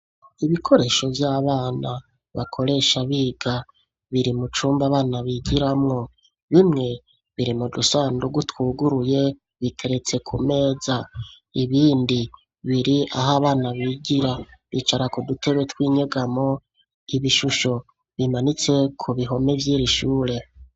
Ibikoresho vy'abana bakoresha biga biri mu cumba bana bigiramwo bimwe biri mu dusandugu twuguruye biteretse ku meza ibindi biri aho abana bigira bicara ku dutebe twinyegamo ibishusho bimanitse ku bihome vyiri shure.